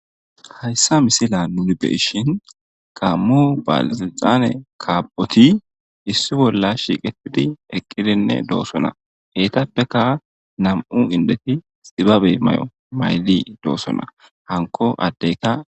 Hayssa misila nuni beishin qammo balzilxane kaaphoti issi bolla shiiqetidi eqqidinne doosona heetappeka nam7u indeti xibabe may7o maylli doossona hanko addeyka.